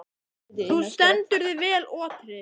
Þú stendur þig vel, Otri!